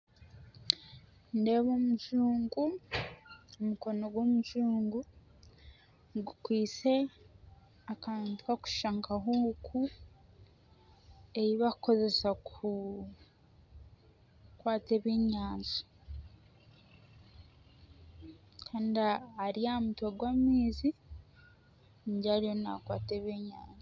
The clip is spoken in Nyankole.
Nindeeba omujungu, omukono gw'omujungu gukwaise akantu karikushusha nka huuku ei barikukozesa ku kukwata ebyenyanja. Kandi ari aha mutwe gw'amaizi ningira ariyo nakwata ebyenyanja.